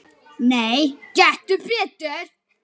Nei, gettu betur